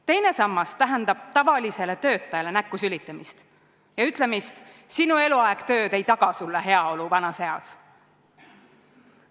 Teine sammas tähendab tavalisele töötajale näkku sülitamist ja ütlemist, et sinu eluaeg tööd ei taga sulle heaolu vanas eas.